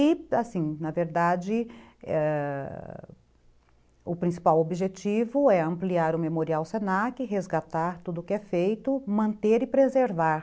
E, assim, na verdade, ãh... o principal objetivo é ampliar o Memorial Se na que, resgatar tudo o que é feito, manter e preservar.